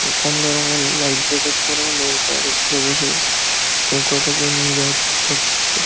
কমলা রঙের life jacket পরা নৌকার উপরে বসে নৌকাটাকে নিয়ে যাওয়ার চেষ্টা করছে।